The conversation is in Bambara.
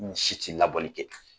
N si ti labɔli kɛ